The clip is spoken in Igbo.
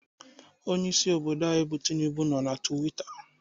Onyeisi obodo anyị bụ Tinubu nọ na Twita